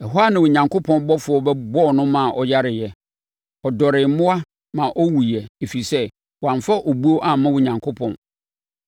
Ɛhɔ ara Onyankopɔn ɔbɔfoɔ bɛbɔɔ no maa ɔyareeɛ. Ɔdɔree mmoa ma ɔwuiɛ, ɛfiri sɛ, wamfa obuo amma Onyankopɔn.